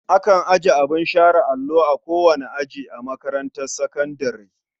Akan ajiye abin share allo a kowane aji a makarantar sakandare.